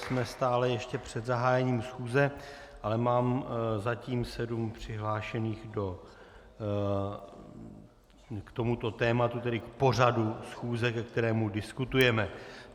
Jsme stále ještě před zahájením schůze, ale mám zatím sedm přihlášených k tomuto tématu, tedy k pořadu schůze, ke kterému diskutujeme.